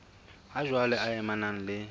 ha jwale e amanang le